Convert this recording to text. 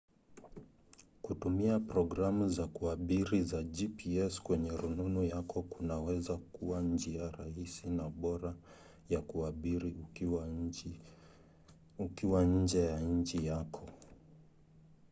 kutumia programu za kuabiri za gps kwenye rununu yako kunaweza kuwa njia rahisi na bora ya kuabiri ukiwa nje ya nchi yako